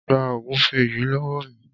Gba ògúnfẹ yìí lówó mi.